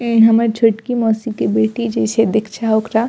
ए हमर छोटकी मौसी के बेटी जे छै दीक्षा ओकरा --